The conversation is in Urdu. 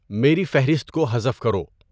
میری فہرست کو حذف کرو